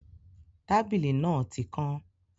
Tábìlì náà tí kán